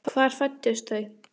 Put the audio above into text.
Hvar fæddust þau?